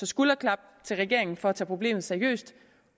skulderklap til regeringen for at tage problemet seriøst